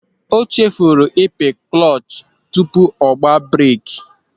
O chefuru ịpị klọch tupu ọ gba breeki.